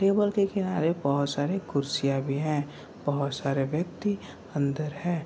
table के किनारे बहुत सारे कुर्सियाँ भी हैं | बहुत सारे व्यक्ति अंदर हैं |